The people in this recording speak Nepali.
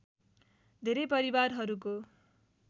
धेरै परिवारहरूको